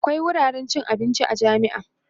akwia wuraren cin abinci a jami'a